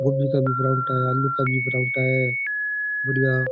आलू का भी पराठा है बड़िया।